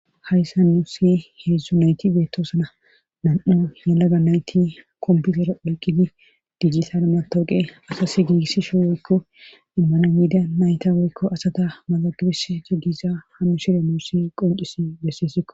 hayssa nu si heedzdzu nayti beettoosana nam7u yalaga nayti komputer oyqqidi dijitale matooqe asas giigissi sho woykko immana yiida nayta woykko asata maxagibis jiggiza hammu shire nuu si qoncisi bessessikko